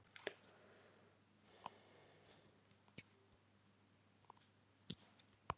Fróðlegt er að bera þær kenningar sem hér hafa verið reifaðar að íslenskum dæmum.